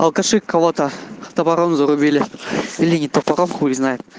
алкаши кого-то топором зарубили или не топором хуй знает